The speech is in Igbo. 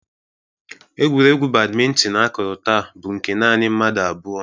Egwuregwu badmintin akụrụ taa bụ nke nanị mmadụ abụọ.